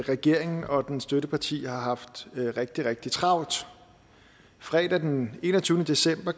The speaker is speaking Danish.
regeringen og dens støtteparti har haft rigtig rigtig travlt fredag den enogtyvende december